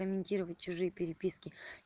комментировать чужие переписки